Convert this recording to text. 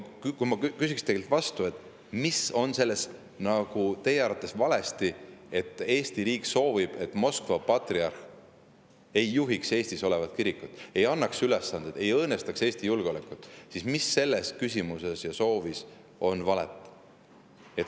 Kui ma küsiks teilt, et mis on teie arvates valesti selles, et Eesti riik soovib, et Moskva patriarh ei juhiks Eestis olevat kirikut, ei annaks ülesandeid, ei õõnestaks Eesti julgeolekut, siis mis selles küsimuses ja soovis valet on.